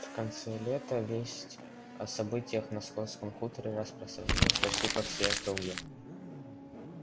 в конце лета весть о событиях на скотском хуторе распространилась почти по всей округе